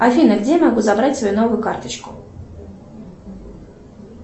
афина где я могу забрать свою новую карточку